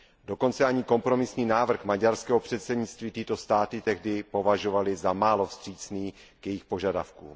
Dokonce i kompromisní návrh maďarského předsednictví tyto státy tehdy považovaly za málo vstřícný k jejich požadavkům.